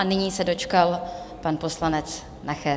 A nyní se dočkal pan poslanec Nacher.